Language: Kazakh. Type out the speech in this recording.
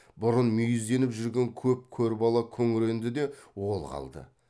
бұрын мүйізденіп жүрген көп көр бала күңіренді де ол қалды